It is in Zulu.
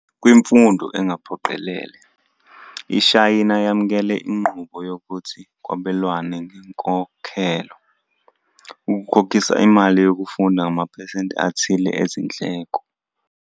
Kwimfundo engaphoqelelele, iShayina yamukele inqubo yokuthi kwabelwane ngenkokhelo, ukukhokhisa imali yokufunda ngamaphesenti athile ezindleko.